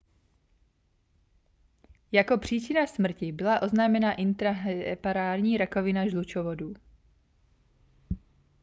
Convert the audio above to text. jako příčina smrti byla oznámena intrahepatální rakovina žlučovodů